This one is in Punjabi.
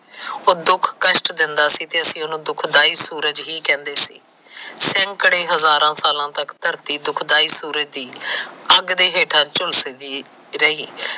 ਉਹ ਦੁਖ ਕਸਟ ਦਿੰਦਾ ਸੀ ਤੇ ਅਸੀ ਉਸਨੂੰ ਦੁਖਦਾਈ ਸੂਰਜ ਹੀ ਕਹਿੰਦੇ ਸੀ ਖੜੀ ਹਜਾਰਾ ਸਾਲਾ ਤੱਕ ਧਰਤੀ ਦੁੱਖ ਦਾਈ ਸੂਰਜ ਦੀ ਅੱਗ ਦੇ ਹੇਠਾ ਝੂਲਸ ਦੀ ਰਹੀ।